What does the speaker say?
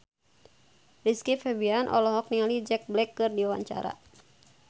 Rizky Febian olohok ningali Jack Black keur diwawancara